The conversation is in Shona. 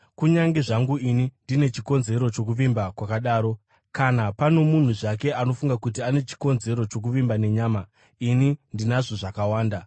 kunyange zvangu ini ndine chikonzero chokuvimba kwakadaro. Kana pano munhu zvake anofunga kuti ane chikonzero chokuvimba nenyama, ini ndinazvo zvakawanda: